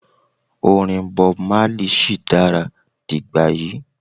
orin Bob Marley shi dara digbayi